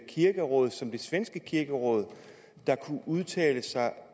kirkeråd som det svenske kirkeråd der kunne udtale sig